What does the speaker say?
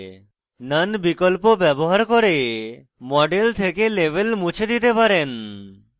none বিকল্প ব্যবহার করে model থেকে labels মুছে দিতে পারেন